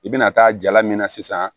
I bɛna taa jala min na sisan